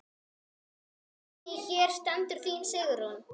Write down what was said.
Guðný: Hér stendur þín Sigrún?